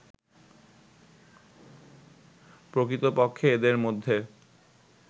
প্রকৃতপক্ষে এদের মধ্যে